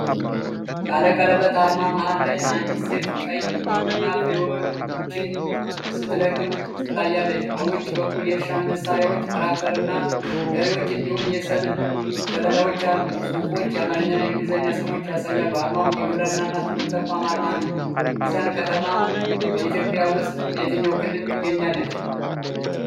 ባለቀለበት አርማ መሃል ላይ አንዲት ሴት ቀይ የቡና ፍሬዎችን ስትለቅም ትታያለች። በውጭ በኩል የእርሻ መሳርያዎች፣ ትራክተርና በሬዎች እንዲሁም የሰብል ዘለላዎች አሉ። ጽሁፎች የአማርኛና የእንግሊዝኛ ስሞች ያሳያሉ። አርማው የግብርና ትምህርት ተቋም አርማ ነው። ሚዛን ከተማ በኢትዮጵያ ውስጥ በየትኛው ክልል ትገኛለች?